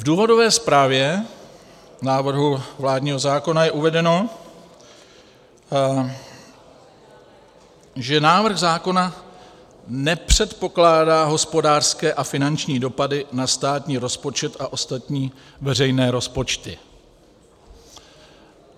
V důvodové zprávě návrhu vládního zákona je uvedeno, že návrh zákona nepředpokládá hospodářské a finanční dopady na státní rozpočet a ostatní veřejné rozpočty.